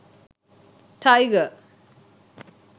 tiger